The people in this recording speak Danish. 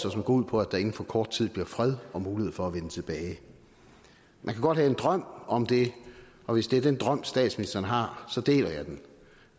og som går ud på at der inden for kort tid bliver fred og mulighed for at vende tilbage man kan godt have en drøm om det og hvis det er den drøm statsministeren har så deler jeg den